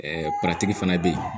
fana bɛ yen